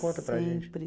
Conta para a gente.